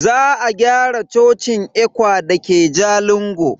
Za a gyara cocin ECWA dake Jalingo.